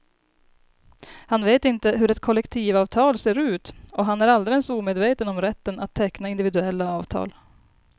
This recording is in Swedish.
Han vet inte hur ett kollektivavtal ser ut och han är alldeles omedveten om rätten att teckna individuella avtal.